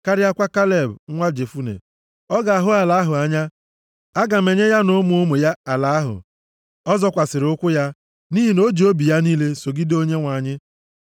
karịakwa Kaleb, nwa Jefune. Ọ ga-ahụ ala ahụ anya, aga m enye ya na ụmụ ụmụ ya ala ahụ ọ zọkwasịrị ụkwụ ya, nʼihi na o ji obi ya niile sogide Onyenwe anyị.”